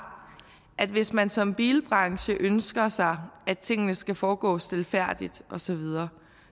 at hvis man som bilbranche ønsker sig at tingene skal foregå stilfærdigt osv